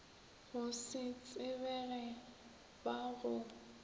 go se tsebege ba go